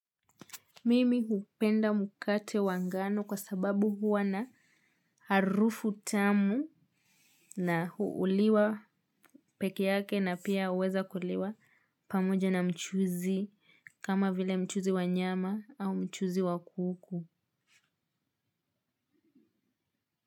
Mimi hupenda mukate wa ngano kwa sababu huwa na harufu tamu na huuliwa peke yake na pia uweza kuliwa pamoja na mchuzi kama vile mchuzi wa nyama au mchuzi wa kuku.